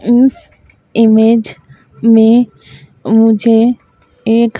इस इमेज में मुझे एक--